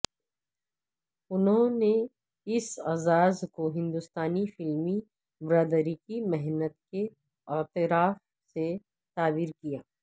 انھوں نے اس اعزاز کو ہندوستانی فلمی برادری کی محنت کے اعتراف سے تعبیر کیا